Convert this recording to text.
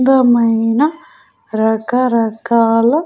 అందమైన రకరకాల --